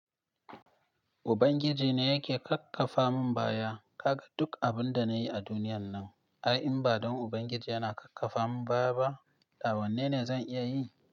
Ubangiji ne yake kakkafa mun baya. Kaga duk abin da na yi a duniyan nan, ai in ba don Ubangiji yana kakkafa mun baya ba, da wanne ne zan iya yi?